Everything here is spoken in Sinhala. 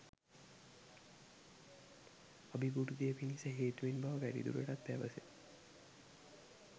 අභිවෘද්ධිය පිණිස හේතුවෙන් බව වැඩිදුරටත් පැවසේ.